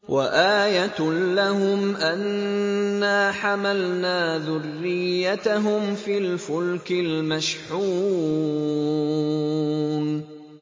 وَآيَةٌ لَّهُمْ أَنَّا حَمَلْنَا ذُرِّيَّتَهُمْ فِي الْفُلْكِ الْمَشْحُونِ